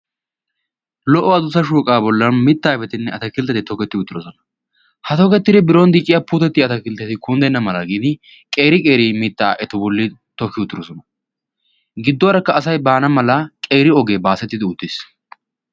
lo77o adussa shooqaa bollan mittaa ayfettinne attakilitetti toketti uttidosona. ha tokettidi biron dicciya puutetti atakiiliteti kunddenna mala gin qeeri qeeri mittaa etu bolli tokki uttidosona. gidduwaarakka asay baana mala qeeri ogee baasettidi uttiis.